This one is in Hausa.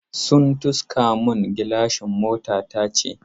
Sun tiska mun gilashin motata ce.